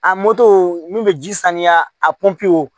A n'u bɛ ji saniya a